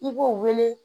I b'o wele